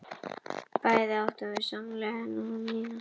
Bæði áttum við sameiginlega vini og svo átti Jakob sína vini og ég mína.